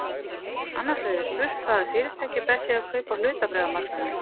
Annars vegar er spurt hvaða fyrirtæki best sé að kaupa á hlutabréfamarkaðinum.